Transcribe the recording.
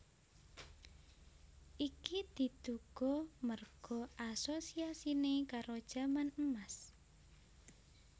Iki diduga merga asosiasine karo jaman Emas